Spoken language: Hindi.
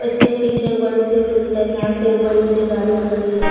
इसके पीछे एक बड़ी से फील्ड है जहां पे एक बड़ी सी गाड़ी खड़ी है।